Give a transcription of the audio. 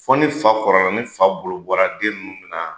Fɔ ni fa kɔrɔla ni fa bolo bɔra den nunnu na